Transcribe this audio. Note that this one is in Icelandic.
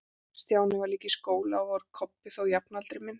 Stjáni voru líka í skóla, og var Kobbi þó jafnaldri minn.